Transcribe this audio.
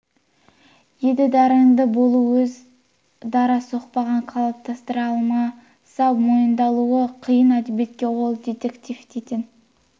еді дарынды болу аз өз дара соқпағын қалыптастыра алмаса мойындалуы қиын әдебиетке ол детектив дейтін